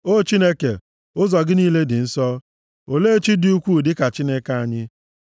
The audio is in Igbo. O Chineke, ụzọ gị niile dị nsọ. Olee chi dị ukwuu dịka Chineke anyị?